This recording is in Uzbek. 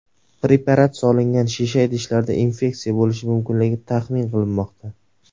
Preparat solingan shisha idishlarda infeksiya bo‘lishi mumkinligi taxmin qilinmoqda.